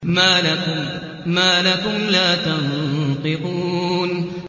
مَا لَكُمْ لَا تَنطِقُونَ